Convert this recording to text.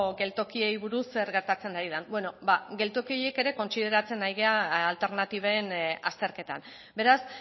geltokiei buruz zer gertatzen ari den bueno geltoki horiek ere kontsideratzen ari gara alternatiben azterketan beraz